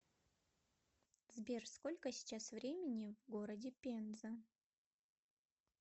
сбер сколько сейчас времени в городе пенза